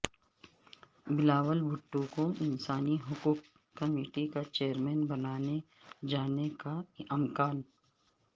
بلاول بھٹو کو انسانی حقوق کمیٹی کا چیئرمین بنائے جانے کا امکان